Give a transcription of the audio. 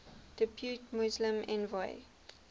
depute muslim envoy